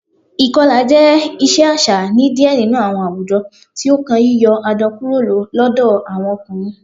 Ikọla jẹ iṣe aṣa ni diẹ ninu awọn awujọ, ti o kan yiyọ adọ kuro lọdọ awọn ọkunrin.